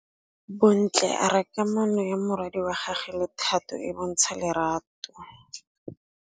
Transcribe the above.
Bontle a re kamanô ya morwadi wa gagwe le Thato e bontsha lerato.